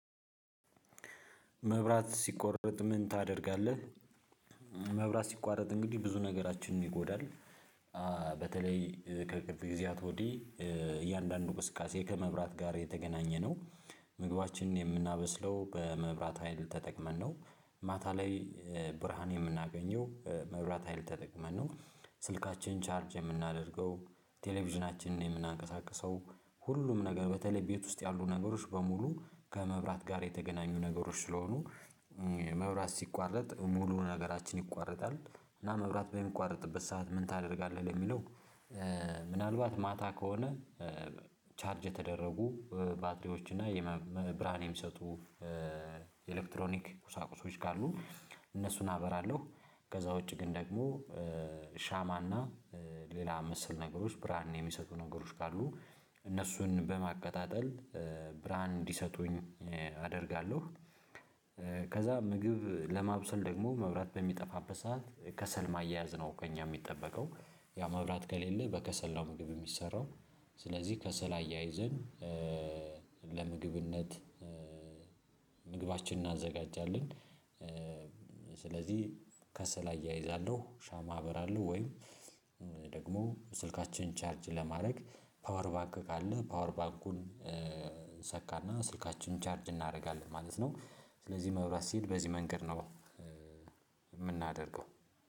መብራት ሲቋረጥ ምን ታደርጋለህ? መብራት ሲቋረጥ እንግዲህ ብዙ ነገራችንን ይጎዳል በተለይ ከቅርብ ጊዜያት ወዲህ እያንዳንዱ እንቅስቃሴ ከመብራት ጋር የተገናኘነው ምግባችንን የምናበስለው በመብራት ሀይል ተጠቅመን ነው ማታ ላይ ብርሃን የምናገኘው መብራት ሀይል ተጠቅመን ነው ስልካችን ቻርጅ የምናደርገው ቴሌቪዥናችንን የምናንቀሳቅሰው ሁሉም ነገር በተለይ ቤት ውስጥ ያሉ ነገሮች በሙሉ ከመብራት ጋር የተገናኙ ነገሮች ስለሆኑ መብራት ሲቋረጥ ሙሉ ነገራችን ይቋረጣል እና መብራት በሚቋረጥበት ሰዓት ምን ታደርጋለህ ለሚለው ምናልባት ማታ ከሆነ ቻርጅ የተደረጉ ባትሪዎች እና የብርሃን የሚሰጡ ኤሌክትሮኒክ ቁሳቁሶች ካሉ እነሱን አበራለሁ ከዛ ውጪ ግን ደግሞ ሻማና ሌላ መሰል ነገሮች ብርሃን የሚሰጡ ነገሮች ካሉ እነሱን በማቀጣጠል ብራንድ እንዲሰጡኝ አደርጋለሁ ከዛ ምግብ ለማብሰል ደግሞ መብራት በሚጠፋበት ሰዓት ከሰል ማያያዝ ነው ከእኛ የሚጠበቀው ያው መብላት ከሌለ በከሰል ነው ምግብ የሚሰራው ስለዚህ ከሰል አያይዘን ለምግብነት ምግባችን እናዘጋጃለን ስለዚህ ከሰል አያይዛለሁ ሻማ አበራለሁ ወይም ደግሞ ስልካችንን ቻርጅ ለማድረግ ፓወር ባክ ካለ ፓወር ባንኩን እሰካለሁ ስልካችንን ቻርጅ እናደርጋለን ማለት ነው ስለዚህ መብራት ሲል በዚህ መንገድ ነው የምናደርገው